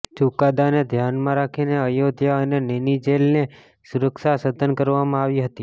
ચુકાદાને ધ્યાનમાં રાખીને અયોધ્યા અને નેની જેલની સુરક્ષા સઘન કરવામાં આવી હતી